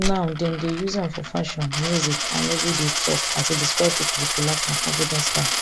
now dem dey use am for fashion music and everyday tok as e describe pesin wit relaxed and confident style